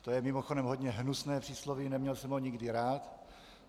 To je mimochodem hodně hnusné přísloví, neměl jsem ho nikdy rád.